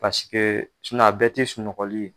a bɛɛ tɛ sunɔgɔli ye.